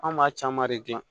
An b'a caman de gilan